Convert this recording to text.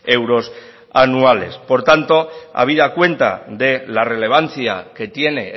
euros anuales por tanto habida cuenta de la relevancia que tiene